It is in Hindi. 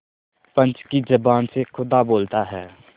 पंच की जबान से खुदा बोलता है